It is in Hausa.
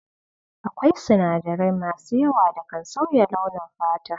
Akwai sinadarai masu yawa da kan sauya launin fata.